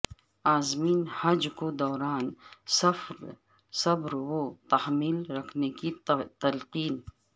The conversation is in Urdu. عازمین حج کو دوران سفر صبر و تحمل رکھنے کی تلقین